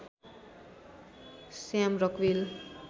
Shyam Rockvale